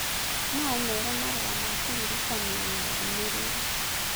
no ũmeere marũa ma kũririkania na ndũmĩrĩri